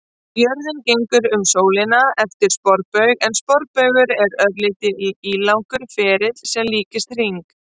Jörðin gengur um sólina eftir sporbaug en sporbaugur er örlítið ílangur ferill sem líkist hring.